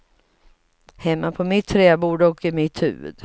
Hemma på mitt träbord och i mitt huvud.